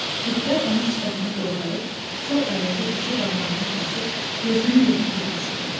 Türklər onun sifətini doğrayıb sol əlində iki barmağını kəsib gözünün birini tökmüşdülər.